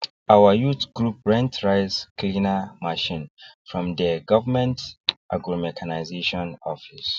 our youth group rent rice cleaner machine from dey government agromechanization office